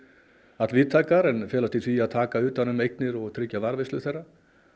all víðtækar en felast í því að taka utan um eignir og tryggja varðveislu þeirra